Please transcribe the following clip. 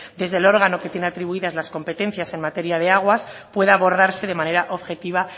desde el órgano que tiene atribuidas las competencias en materia de aguas pueda abordarse de manera objetiva